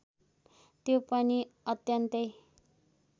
त्यो पनि अत्यन्तै